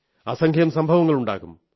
അസംഖ്യം സംഭവങ്ങളുണ്ടാകും